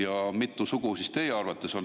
Ja mitu sugu teie arvates on?